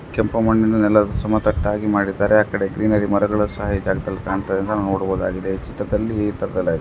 ಕೆಂಪು ಮಣ್ಣಿನ ಸಮದಟ್ಟಾಗಿ ಮಾಡಿದ್ದಾರೆ ಆಕಡೆ ಗ್ರೀನರಿ ಮರಗಳು ಸಹ ಈ ಜಾಗದಲ್ಲಿ ಕಾಣತ್ತಿದೆ ನೋಡಬಹುದಾಗಿದೆ ಈ ಚಿತ್ರದಲ್ಲಿ ಇತರದೆಲ್ಲಾ ಇದೆ.